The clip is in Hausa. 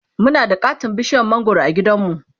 Muna da katon bishiyar mangwaro a gidanmu